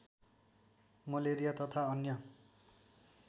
malaria तथा अन्य